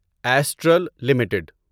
astral limited